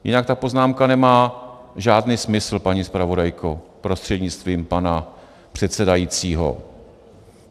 Jinak ta poznámka nemá žádný smysl, paní zpravodajko prostřednictvím pana předsedajícího.